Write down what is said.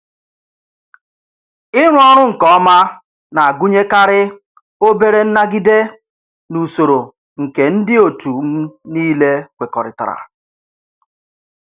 Ịrụ ọrụ nke ọma na-agụnyekarị obere nnagide n' usoro nke ndị otu m niile kwekọrịtara.